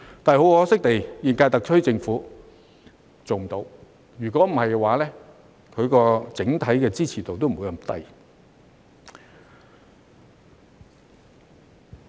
但很可惜，現屆特區政府做不到，否則其整體支持度也不會這麼低。